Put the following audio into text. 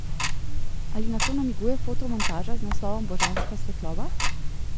Ali na to namiguje fotomontaža z naslovom Božanska svetloba?